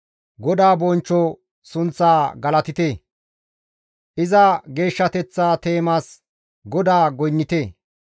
GODAA bonchcho sunththaa galatite; Iza geeshshateththa teemas GODAA goynnite.